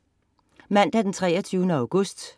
Mandag den 23. august